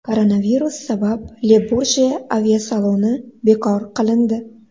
Koronavirus sabab Le-Burje aviasaloni bekor qilindi.